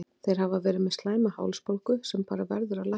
Þeir hafa verið með slæma hálsbólgu sem bara verður að lækna.